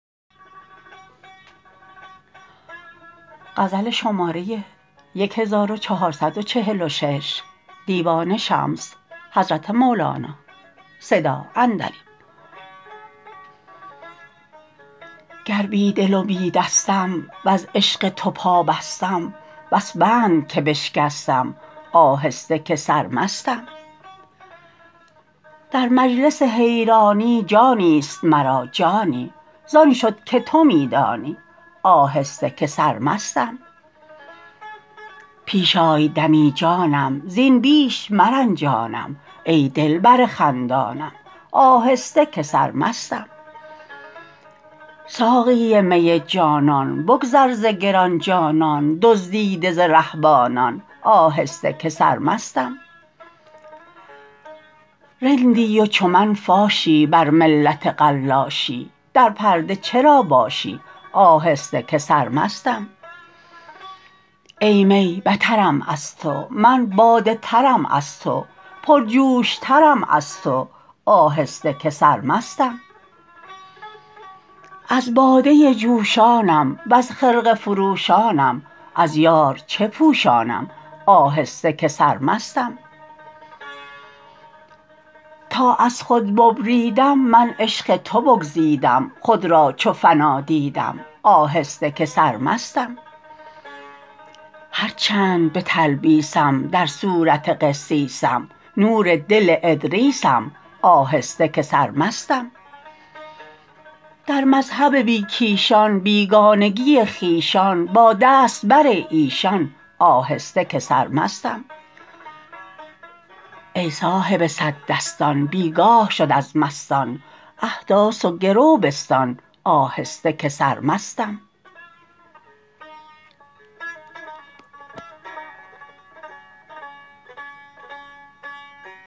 گر بی دل و بی دستم وز عشق تو پابستم بس بند که بشکستم آهسته که سرمستم در مجلس حیرانی جانی است مرا جانی زان شد که تو می دانی آهسته که سرمستم پیش آی دمی جانم زین بیش مرنجانم ای دلبر خندانم آهسته که سرمستم ساقی می جانان بگذر ز گران جانان دزدیده ز رهبانان آهسته که سرمستم رندی و چو من فاشی بر ملت قلاشی در پرده چرا باشی آهسته که سرمستم ای می بترم از تو من باده ترم از تو پرجوش ترم از تو آهسته که سرمستم از باده جوشانم وز خرقه فروشانم از یار چه پوشانم آهسته که سرمستم تا از خود ببریدم من عشق تو بگزیدم خود را چو فنا دیدم آهسته که سرمستم هر چند به تلبیسم در صورت قسیسم نور دل ادریسم آهسته که سرمستم در مذهب بی کیشان بیگانگی خویشان باد است بر ایشان آهسته که سرمستم ای صاحب صد دستان بی گاه شد از مستان احداث و گرو بستان آهسته که سرمستم